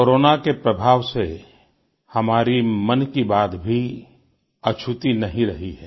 corona के प्रभाव से हमारी मन की बात भी अछूती नहीं रही है